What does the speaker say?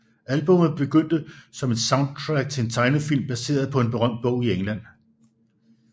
Albummet begyndte som et soundtrack til en tegnefilm baseret på en berømt bog i England